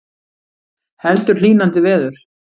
Heldur hlýnandi veður